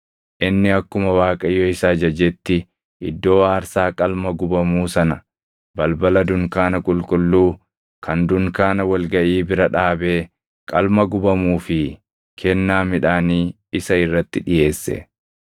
Inni akkuma Waaqayyo isa ajajetti iddoo aarsaa qalma gubamuu sana balbala dunkaana qulqulluu kan dunkaana wal gaʼii bira dhaabee qalma gubamuu fi kennaa midhaanii isa irratti dhiʼeesse.